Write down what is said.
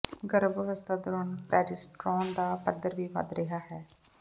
ਗਰਭ ਅਵਸਥਾ ਦੌਰਾਨ ਪ੍ਰਜੇਸਟ੍ਰੋਨ ਦਾ ਪੱਧਰ ਵੀ ਵਧ ਰਿਹਾ ਹੈ